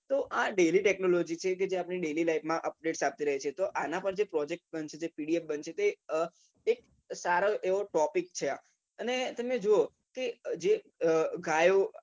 તો આ એવ technology કે daily life માં update આપતી રહે છે આના પછી project બનશે જે pdf એક સારો topic છે આ અને તમે જોવો કે જે કે ગાયો